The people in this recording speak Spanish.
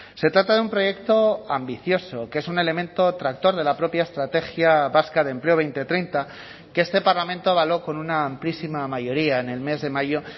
se trata de un proyecto ambicioso que es un elemento tractor de la propia estrategia vasca de empleo dos mil treinta que este parlamento avaló con una amplísima mayoría en el mes de mayo